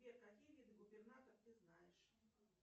сбер какие виды губернатор ты знаешь